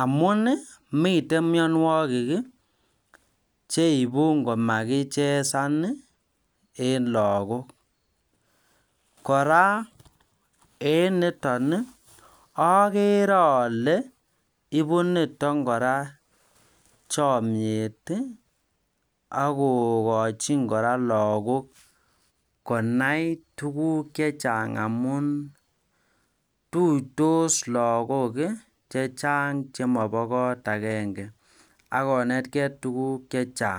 amun Ii miten myonuwokik Ii cheibu ngomakichesan en logok kora en niton ogeere ole ibu niton kora chomiet ak kokojinkora logok konai tuguk chechang amun tuitos logok chechang chemobo koot agenge ak kontegei tuguk chechang